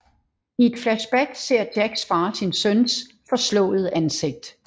I et flashback ser Jacks far sin søns forslåede ansigt